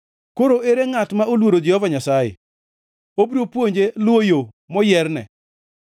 Koro ere ngʼat ma oluoro Jehova Nyasaye? Obiro puonje luwo yo moyierne.